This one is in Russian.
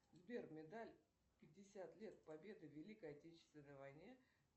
сбер медаль пятьдесят лет победы в великой отечественной войне